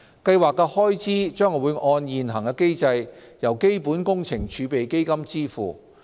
計劃的開支將按現行機制由基本工程儲備基金支付。